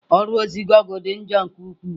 Ọrụ ozi gụgle dị njọ nke ukwuu.